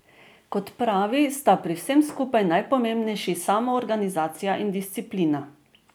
Kot pravi, sta pri vsem skupaj najpomembnejši samoorganizacija in disciplina.